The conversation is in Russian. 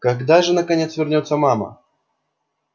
когда же наконец вернётся мама